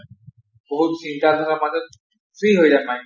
বহুত চিন্তাধাৰাৰ মাজত free হৈ